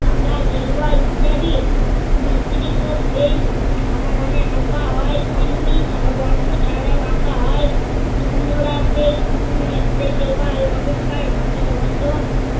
সাদা, গেরুয়া ইত্যাদি বিসতৃত সেই সমাধানে আঁকা হয় তেমনি ছা~ বর্ণ ছারাও আঁকা হয়। অন্যরা সেই উম সেই দেওয়াল অপেক্ষা রঙ্গিন হত